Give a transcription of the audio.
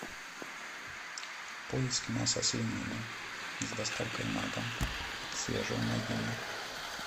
поиск мяса свинины с доставкой на дом свежее найди мне